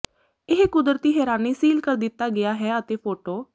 ਇਹ ਕੁਦਰਤੀ ਹੈਰਾਨੀ ਸੀਲ ਕਰ ਦਿੱਤਾ ਗਿਆ ਹੈ ਅਤੇ ਫੋਟੋ